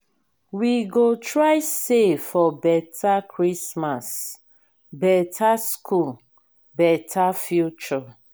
we go try save for beta christmas beta school beta future.